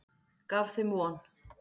Gaf þeim von.